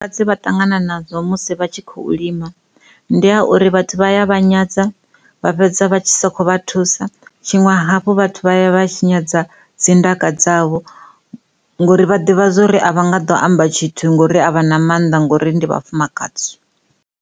Vhafumakadzi vha vhane vha ṱangana nazwo musi vha tshi khou lima ndi ha uri vhathu vha a vha nyadza vha fhedza vha songo vha thusa zwiṅwe hafhu vhathu vha ya vha tshinyadza dzindaka dzavho ngori vha ḓivha zwori a nga ḓo amba tshithu ngori avhana mannḓa ngori ndi vhafumakadzi.